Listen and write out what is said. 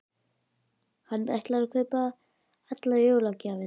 Hann ætlar að kaupa allar jólagjafirnar.